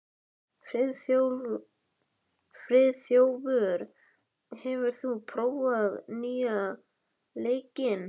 Friðþjófur, hefur þú prófað nýja leikinn?